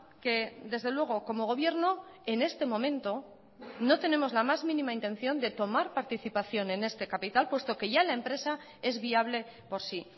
que desde luego como gobierno en este momento no tenemos la más mínima intención de tomar participación en este capital puesto que ya la empresa es viable por sí